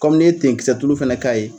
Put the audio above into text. n'i ye tenkisɛ tulu fana k'a ye